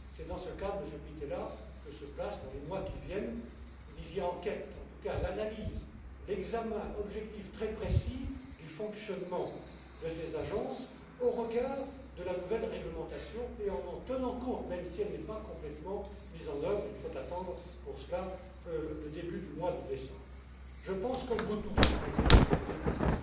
C'est dans ce cadre, Monsieur Pittella, que s'inscrira, dans les mois qui viennent vous disiez enquête en tout cas l'analyse, l'examen objectif, très précis, du fonctionnement de ces agences au regard de la nouvelle réglementation et en en tenant compte, même si elle n'est pas complètement mise en œuvre, il faudra attendre pour cela le début du mois de décembre. Je pense comme vous tous, Mesdames et Messieurs les députés,